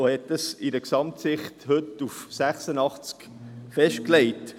Er hat dies aus einer Gesamtsicht bei 86 festgelegt.